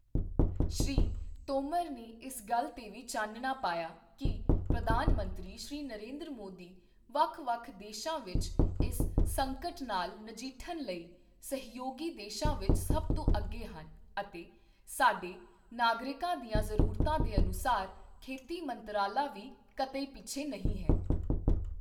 ਸ਼੍ਰੀ ਤੋਮਰ ਨੇ ਇਸ ਗੱਲ ਤੇ ਵੀ ਚਾਨਣਾ ਪਾਇਆ ਕਿ ਪ੍ਰਧਾਨ ਮੰਤਰੀ ਸ਼੍ਰੀ ਨਰਿੰਦਰ ਮੋਦੀ ਵੱਖ ਵੱਖ ਦੇਸ਼ਾਂ ਵਿੱਚ ਇਸ ਸੰਕਟ ਨਾਲ ਨਜਿੱਠਣ ਲਈ ਸਹਿਯੋਗੀ ਦੇਸ਼ਾਂ ਵਿੱਚ ਸਭ ਤੋਂ ਅੱਗੇ ਹਨ ਅਤੇ ਸਾਡੇ ਨਾਗਰਿਕਾਂ ਦੀਆਂ ਜ਼ਰੂਰਤਾਂ ਦੇ ਅਨੁਸਾਰ ਖੇਤੀ ਮੰਤਰਾਲਾ ਵੀ ਕਤਈ ਪਿੱਛੇ ਨਹੀਂ ਹੈ।